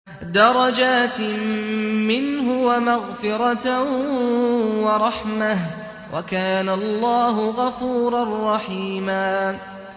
دَرَجَاتٍ مِّنْهُ وَمَغْفِرَةً وَرَحْمَةً ۚ وَكَانَ اللَّهُ غَفُورًا رَّحِيمًا